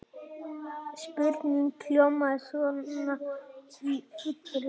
Spurningin hljómaði svona í fullri lengd: